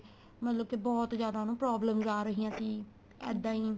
ਮਤਲਬ ਕੀ ਬਹੁਤ ਜਿਆਦਾ ਉਹਨੂੰ problems ਆ ਰਹੀਆਂ ਸੀ ਇੱਦਾਂ ਈ